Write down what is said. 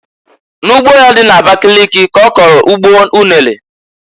N'ugbo ya dị n'Abakịlịkị ka ọ kọlụ ugbo unere.